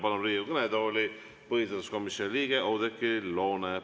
Palun Riigikogu kõnetooli põhiseaduskomisjoni liikme Oudekki Loone.